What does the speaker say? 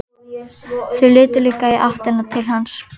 Þau litu líka í áttina til hans.